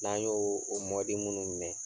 N'an y'o o minnu minɛ,